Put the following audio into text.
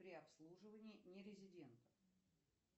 при обслуживании не резидента